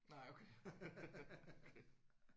Nej okay okay